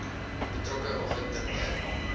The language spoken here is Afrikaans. betrokke oggend terwyl